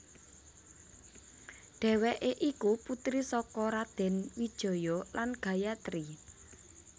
Dhèwèké iku putri saka Raden Wijaya lan Gayatri